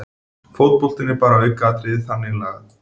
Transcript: Fótboltinn er bara aukaatriði þannig lagað